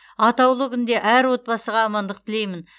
атаулы күнде әр отбасыға амандық тілеймін